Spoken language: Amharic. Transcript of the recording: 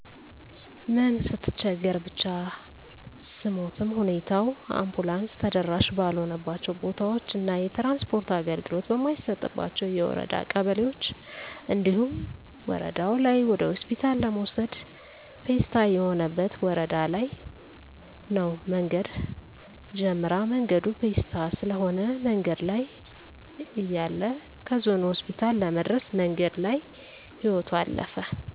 ምን ስትቸገር ብቻ ስሞትም ሁኔታው አንቡላንስ ተደራሺ ባልሆነባቸው ቦታዎች እና የትራንስፖርት አገልግሎት በማይሰጥባቸው የወረዳ ቀበሌዎች እንዲሁም ወረደው ላይ ወደሆስፒታል ለመውሰድ ፔስታ የሆነበት ወረዳ ለይ ነው መንገድ ጀምራ መንገዱ ፔስታ ስለሆነ መንገድ ላይ እያለይ ከዞኑ ሆስፒታል ለመድረስ መንገድ ላይ ህይወቶ አለፈ።